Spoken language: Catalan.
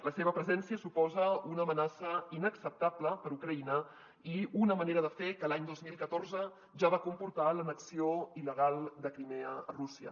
la seva presència suposa una amenaça inacceptable per ucraïna i una manera de fer que l’any dos mil catorze ja va comportar l’annexió il·legal de crimea a rússia